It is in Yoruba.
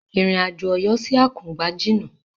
Ìrìn àjò Ọ̀yọ́ sí Àkùngbá jìna.